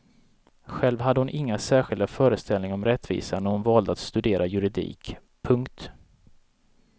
Själv hade hon inga särskilda föreställningar om rättvisa när hon valde att studera juridik. punkt